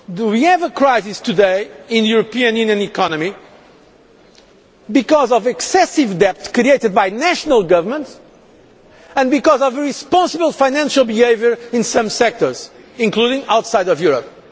We have a crisis today in the European Union economy because of excessive debt created by national governments and because of the irresponsible financial behaviour in some sectors, including outside of Europe.